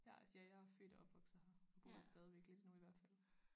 Ja altså ja jeg er født og opvokset her og bor her stadigvæk lidt endnu i hvert fald